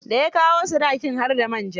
Da ya kawo sadakin, har da man ja.